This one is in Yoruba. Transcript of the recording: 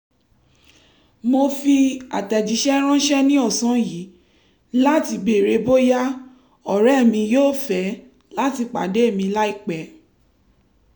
mo fi àtẹ̀jíṣẹ́ ránṣẹ́ ní ọ̀sán yìí láti béèrè bóyá ọ̀rẹ́ mi yóò fẹ́ láti pàdé mi láìpẹ́